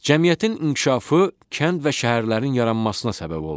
Cəmiyyətin inkişafı kənd və şəhərlərin yaranmasına səbəb oldu.